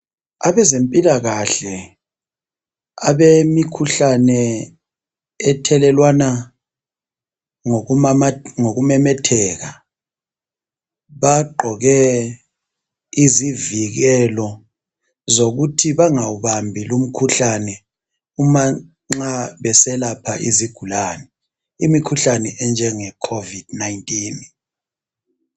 Abezempilakahle abemikhuhlane ethelelwana ngokumemetheka bagqoke izivikelo zokuthi bangawubambi lumkhuhlane umanxa beselapha izigulane. Imikhuhlane enjenge khovidi 19.